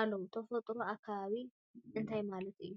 አለው፡፡ ተፈጥሮን አከባቢን እንታይ ማለት እዩ?